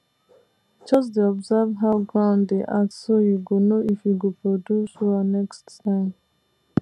just dey observe how ground dey act so you go know if e go produce well next time